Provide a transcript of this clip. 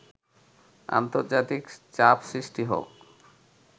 আন্তর্জাতিক চাপ সৃষ্টি হোক